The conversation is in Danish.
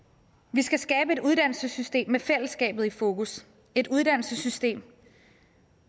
vi skal skabe et uddannelsessystem med fællesskabet i fokus et uddannelsessystem